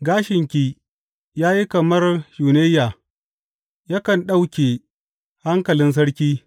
Gashinki ya yi kamar shunayya; yakan ɗauke hankalin sarki.